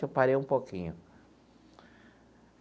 Eu parei um pouquinho.